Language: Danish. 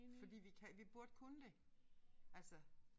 Fordi vi kan vi burde kunne det altså